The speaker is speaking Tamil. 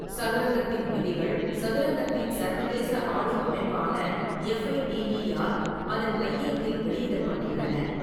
சதுரங்கத்தின் விதிகள் சதுரங்கத்தின் சர்வதேச ஆளும் அமைப்பான எஃப்ஐடிஇ ஆல் அதன் கையேட்டில் வெளியிடப்பட்டுள்ளன.